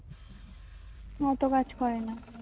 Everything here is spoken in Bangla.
মাথা কাজ করতে নেই